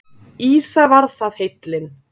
Ýsa var það heillin!